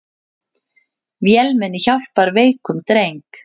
Vélmenni hjálpar veikum dreng